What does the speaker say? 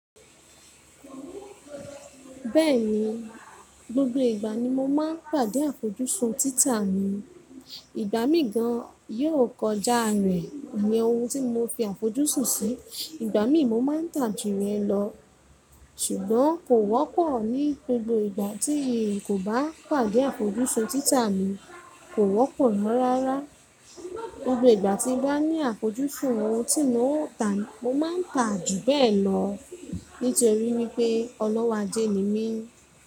Bẹ́ẹ̀ni, gbogbo ìgbà ni mo máa ń pàdé àfojúsùn títà mi. Ìgbà mí gan yóò kọjá rẹ̀ ni ohun tí mo fi àfojúsùn sí. Ìgbà mi mo máa ń tà jù yẹ̀n lọ. Ṣùgbọ́n kò wọ́pọ̀ ní gbogbo ìgbà tí kò bá pàdé àfojúsùn títà mi, kò wọ́pọ̀ ná rárá. Gbogbo ìgbà tí ń bá ní àfojúsùn ohun tí n ó tà, mo máa ń tà jù bẹ́ẹ̀ lọ. Nítorí wípé ọlọ́wọ́ ajé ni mí.